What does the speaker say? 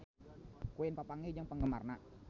Queen papanggih jeung penggemarna